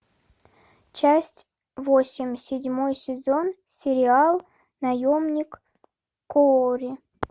часть восемь седьмой сезон сериал наемник куорри